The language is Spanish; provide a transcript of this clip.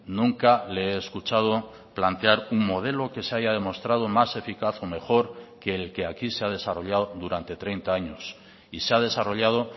nunca le he escuchado plantear un modelo que se haya demostrado más eficaz o mejor que el que aquí se ha desarrollado durante treinta años y se ha desarrollado